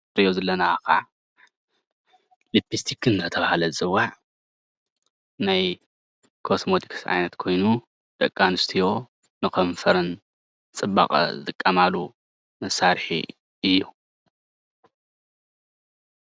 እዚ እንሪኦ ዘለና ከዓ ሊፕሰቲ እናተባሃለ ዝፅዋዕ ናይ ኮስሞቲስክስ ዓይነት ኮይኑ ደቂ ኣነስትዮ ንከንፈረን ፅባቐ ዝጥቀማሉ መሳርሒ እዩ፡፡